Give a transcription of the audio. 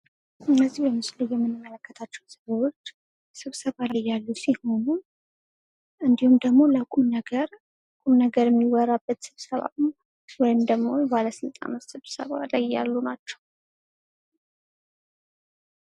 እነዚህ በምስሉ ላይ የምንመለከታቸው ሰዎች ስብሰባ ላይ ያሉ ሲሆኑ እንዲሁም ደግሞ ለቁም ነገር ቁምነገር የሚወራበት ስብሰባ ነው ። ወይም ደግሞ ባለስልጣኖች ስብሰባ ላይ ያሉ ናቸው ።